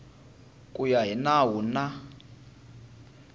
ku ya hi nawu na